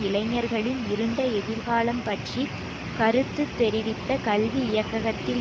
இளைஞர்களின் இருண்ட எதிர்காலம் பற்றி கருத்து தெரிவித்த கல்வி இயக்ககத்தில்